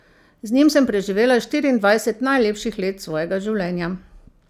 Z njim sem preživela štiriindvajset najlepših let svojega življenja.